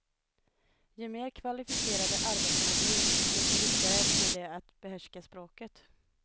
Ju mer kvalificerade arbetena blir, desto viktigare blir det att behärska språket.